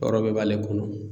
Yɔrɔ bɛɛ b'ale kɔnɔ